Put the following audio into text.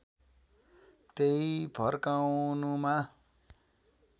त्यहीं फर्काउनुमा